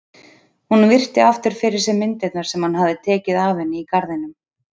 Hún virti aftur fyrir sér myndirnar sem hann hafði tekið af henni í garðinum.